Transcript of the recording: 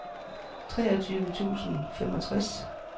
treogtyve tusind og femogtres